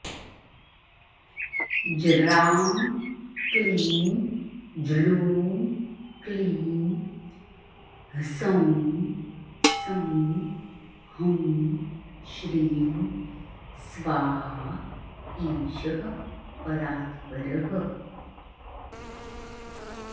ज्रां क्लीं ज्लूं क्लीं ह्सौं सौं हौं श्रीं स्वाहा ईशः परात्परः